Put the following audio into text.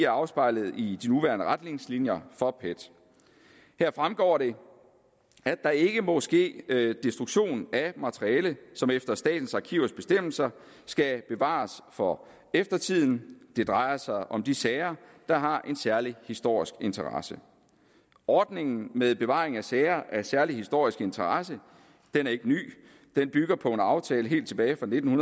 afspejlet i de nuværende retningslinjer for pet her fremgår det at der ikke må ske destruktion af materiale som efter statens arkivers bestemmelser skal bevares for eftertiden det drejer sig om de sager der har en særlig historisk interesse ordningen med bevaring af sager af særlig historisk interesse er ikke ny den bygger på en aftale helt tilbage fra nitten